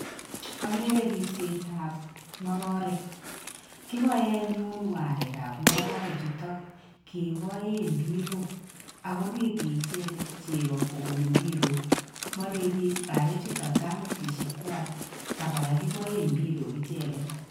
Okeree ripsetab ngororek kiboe anyun oo arekab ngororechutok keboe impirok ako reri icheket chekoo kobun impirok mareri arechuton kamatisiekwak tam alan keboe impirok icheket.